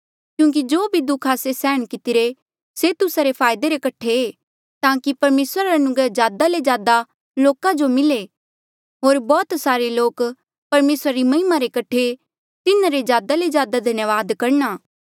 क्यूंकि जो भी दुःख आस्से सैहण कितिरे से तुस्सा रे फायदे रे कठे ताकि परमेसर रा अनुग्रह ज्यादा ले ज्यादा लोका जो मिले होर बौह्त सारे लोक परमेसरा री महिमा रे कठे तिन्हारा ज्यादा ले ज्यादा धन्यावाद करणा